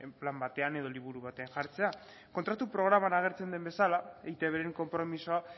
plan batean edo liburu batean jartzea kontratu programan agertzen den bezala eitbren konpromisoa